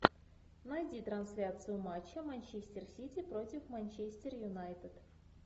найди трансляцию матча манчестер сити против манчестер юнайтед